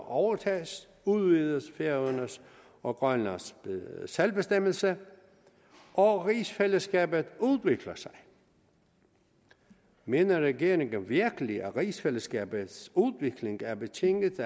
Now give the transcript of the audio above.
overtages udvides færøernes og grønlands selvbestemmelse og rigsfællesskabet udvikler sig mener regeringen virkelig at rigsfællesskabets udvikling er betinget